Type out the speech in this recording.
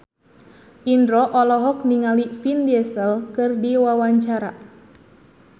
Indro olohok ningali Vin Diesel keur diwawancara